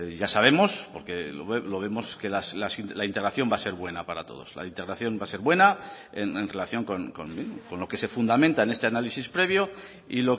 ya sabemos porque lo vemos que la integración va a ser buena para todos la integración va a ser buena en relación con lo que se fundamenta en este análisis previo y